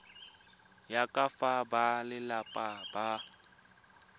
ya ka fa balelapa ba